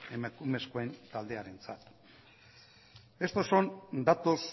emakumezko taldearentzat estos son datos